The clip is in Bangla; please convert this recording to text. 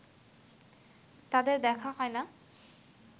তাদের দেখা হয় না